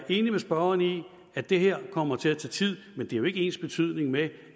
enig med spørgeren i at det her kommer til at tage tid men det er jo ikke ensbetydende med